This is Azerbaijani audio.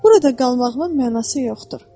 Burada qalmağımın mənası yoxdur.